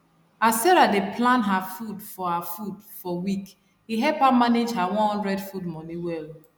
as sarah dey plan her food for her food for week e help am manage her one hundred food money well